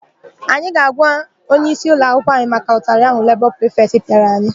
Anyị ga-agwa onyeisi ụlọakwụkwọ maka ụtalị ahụ lebọ prifetị pịara anyị.